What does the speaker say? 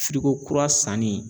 kura sanni